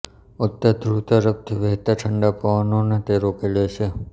ઉત્તર ધ્રુવ તરફથી વહેતા ઠંડા પવનોને તે રોકી લે છે